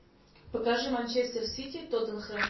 покажи манчестер сити тоттенхэм